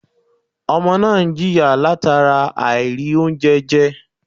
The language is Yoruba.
Ọmọ náà n jìyà látara àìrì oúnjẹ je